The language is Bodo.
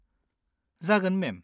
जागोन, मेम।